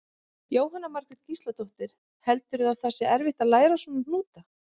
Jóhanna Margrét Gísladóttir: Heldurðu að það sé erfitt að læra svona hnúta?